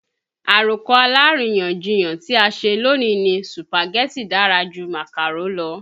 Àròkọ aláríyànjiyàn tí a ṣe lónìí ni Sùpàgẹ́tì dára ju Màkàrò lọ